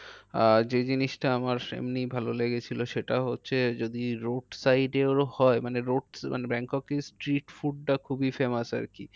আহ যে জিনিসটা আমার এমনি ভালো লেগেছিলো সেটা হচ্ছে যদি road side এর হয় মানে road মানে ব্যাংককে street food টা খুবই famous আর কি।